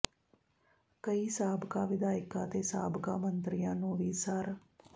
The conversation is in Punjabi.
ਕਈ ਸਾਬਕਾ ਵਿਧਾਇਕਾਂ ਤੇ ਸਾਬਕਾ ਮੰਤਰੀਆਂ ਨੂੰ ਵੀ ਸਰ